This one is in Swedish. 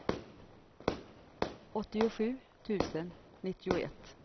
åttiosju tusen nittioett